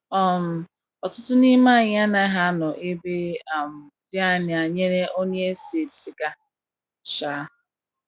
um Ọtụtụ n’ime anyị anaghi anọ ebe um di anya nyere onye ese siga um.